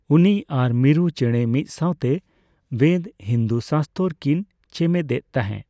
ᱩᱱᱤ ᱟᱨ ᱢᱤᱨᱩ ᱪᱮᱸᱬᱮ ᱢᱤᱫ ᱥᱟᱸᱣᱛᱮ ᱵᱮᱫ, ᱦᱤᱱᱫᱩ ᱥᱟᱥᱛᱚᱨᱚ ᱠᱤᱱ ᱪᱮᱢᱮᱫ ᱮ ᱛᱟᱸᱦᱮ ᱾